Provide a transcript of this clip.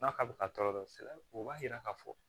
N'a ka bɛ ka tɔɔrɔ sɛnɛ o b'a yira k'a fɔ